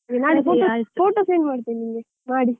photo send ಮಾಡ್ತೀನಿ ನಿಮ್ಗೆ, ಮಾಡಿ.